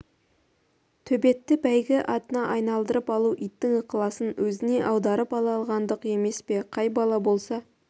төбетті бәйгі атына айналдырып алу иттің ықыласын өзіне аударып ала алғандық емес пе қай бала болса